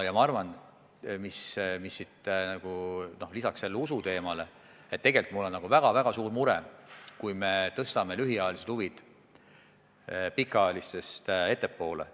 Lisaks sellele usu küsimusele on mul tegelikult väga-väga suur mure, mis saab, kui me tõstame lühiajalised huvid pikaajalistest ettepoole.